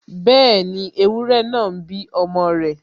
Bẹ́ẹ̀ni, ewúrẹ náà ń bí ọmọ rẹ̀